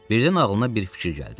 Birdən ağlına bir fikir gəldi.